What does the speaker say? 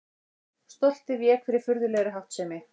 Stoltið vék fyrir furðulegri háttsemi.